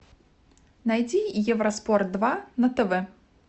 найти евроспорт два на тв